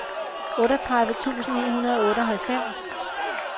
otteogtredive tusind ni hundrede og otteoghalvfems